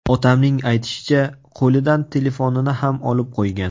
Otamning aytishicha, qo‘lidan telefonini ham olib qo‘ygan.